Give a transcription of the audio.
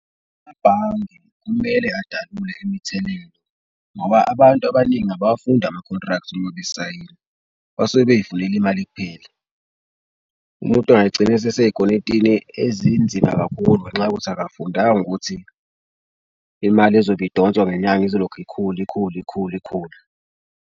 Amabhange kumele adalule imithelela ngoba abantu abaningi abawafundi ama-contract uma besayini base bey'funela imali kuphela. Umuntu engayigcina usesey'kweletini ezinzima kakhulu, ngenxa yokuthi akafundanga ukuthi imali ezobe idonswa ngenyanga izolokhu ikhula ikhula ikhula ikhula.